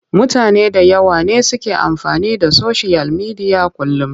Mutane da yawa ne suke amfani da soshiyal midiya a kullum.